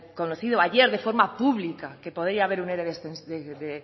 conocido ayer de forma pública que podría haber un ere de